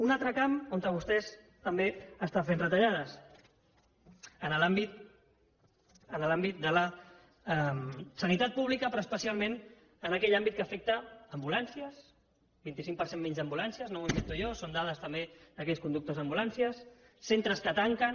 un altre camp on vostès també estan fent retallades en l’àmbit de la sanitat pública però especialment en aquell àmbit que afecta ambulàncies un vint cinc per cent menys d’ambulàncies no m’ho invento jo són dades també d’aquells conductors d’ambulàncies centres que tanquen